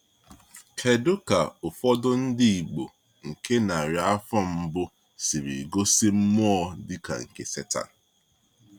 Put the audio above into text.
Kedu ka ụfọdụ ndị Igbo nke narị afọ mbụ siri gosi mmụọ dịka nke Setan?